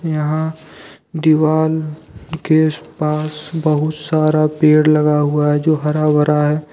यहां दीवाल के पास बहुत सारा पेड़ लगा हुआ है जो हरा भरा है।